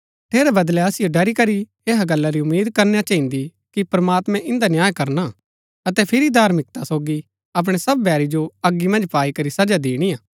ठेरै बदलै असिओ ड़री करी ऐहा गल्ला री उम्मीद करना चहिन्दी कि प्रमात्मैं इन्दा न्याय करना अतै फिरी धार्मिकता सोगी अपणै सब बैरी जो अगी मन्ज पाई करी सजा दिणिआ